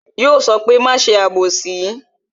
Yo sọ pé "máa ṣe abosi"